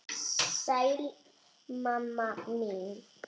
Sæl mamma mín.